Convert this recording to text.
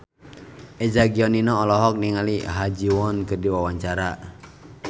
Eza Gionino olohok ningali Ha Ji Won keur diwawancara